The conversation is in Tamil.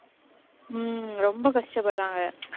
ஹம் ரொம்ப கஷ்டப்படுறாங்க.